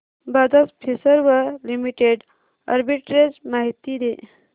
Bajaj Finserv limited arbitrage माहिती दे